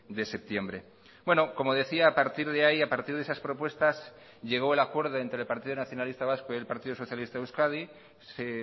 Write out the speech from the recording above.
de septiembre bueno como decía a partir de ahí a partir de esas propuestas llegó el acuerdo entre el partido nacionalista vasco y el partido socialista de euskadi se